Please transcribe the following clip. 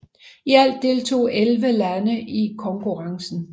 I alt deltog 11 lande i konkurrencen